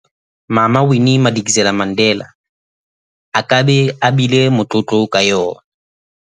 Mama Winnie Madikizela-Mandela a ka beng a bile motlotlo ka yona.